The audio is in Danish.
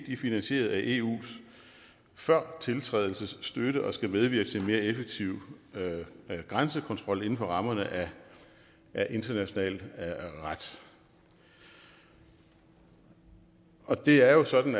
er finansieret af eus førtiltrædelsesstøtte og skal medvirke til en mere effektiv grænsekontrol inden for rammerne af international ret og og det er jo sådan